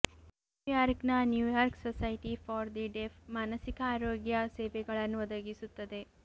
ನ್ಯೂಯಾರ್ಕ್ನ New York society for the deaf ಮಾನಸಿಕ ಆರೋಗ್ಯ ಸೇವೆಗಳನ್ನು ಒದಗಿಸುತ್ತದೆ